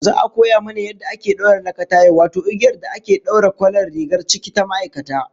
Za'a koya mana yadda ake daura lakataye, wato igiyar da ake daure kwalar rigar ciki ta ma'aikata